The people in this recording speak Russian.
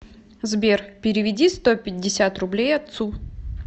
сбер переведи сто пятьдесят рублей отцу